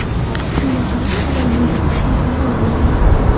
Shunga qaramay, ular bu gapga beparvo bo‘lgan.